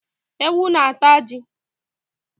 Ewu na ata ji